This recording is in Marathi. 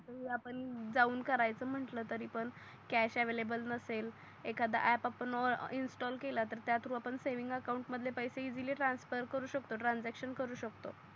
आणि आपण जाऊन करायच म्हटल तरी पण कॅश अवेलेबल नसेल एखादा अँप आपण इन्स्टॉल केला तर त्या थ्रो आपण सेव्हिंग अकाउंट मधले पैसे ईसिली ट्रान्सफर करू शकतो ट्रान्सॅक्शन करू शकतो.